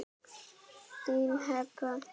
Þín Heba.